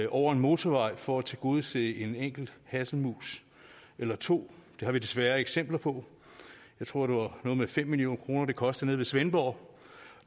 over en motorvej for at tilgodese en enkelt hasselmus eller to det har vi desværre eksempler på jeg tror det var noget med fem million kr det kostede nede ved svendborg